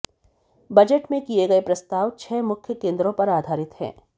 budget में किये गये प्रस्ताव छह मुख्य केंद्रों पर आधारित हैं